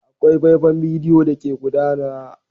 Akwai faifan bidiyo da ke gudana.